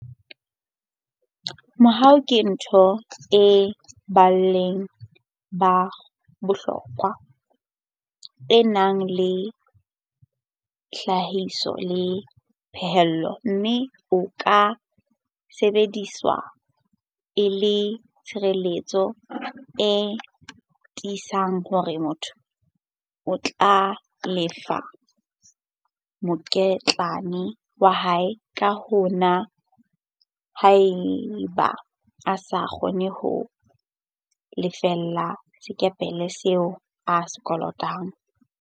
Mobu ke ntho ya boleng ba bohlokwa e nang le tlhahiso le phaello mme o ka sebediswa e le tshireletso e tiisang hore motho o tla lefa mokitlane wa hae ka wona haeba a sa kgone ho lefella sekepele seo a se kolotang.